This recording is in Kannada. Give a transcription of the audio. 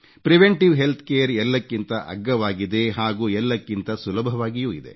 ಪ್ರಿವೆಂಟಿವ್ ಹೆಲ್ತ್ಕೇರ್ ಎಲ್ಲಕ್ಕಿಂತ ಅಗ್ಗವಾಗಿದೆ ಹಾಗೂ ಎಲ್ಲಕ್ಕಿಂತ ಸುಲಭವಾಗಿಯೂ ಇದೆ